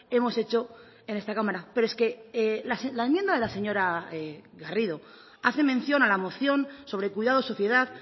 hemos hecho en esta cámara pero es que la enmienda de la señora garrido hace mención a la moción sobre cuidados sociedad